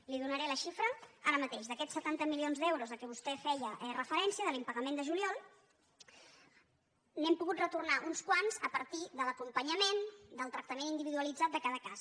li’n donaré la xifra ara mateix d’aquests setanta milions d’euros a què vostè feia re·ferència de l’impagament de juliol n’hem pogut retor·nar uns quants a partir de l’acompanyament del tracta·ment individualitzat de cada cas